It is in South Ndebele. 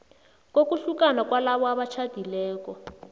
kokuhlukana kwalabo abatjhadileko